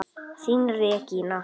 Þín Regína.